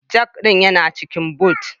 Jack ɗin yana cikin Boot